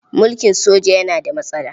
Mulkin soja yana da matsala.